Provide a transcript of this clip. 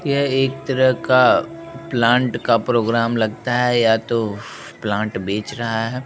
यह एक तरह का प्लांट का प्रोग्राम लगता है या तो प्लांट बेच रहा है।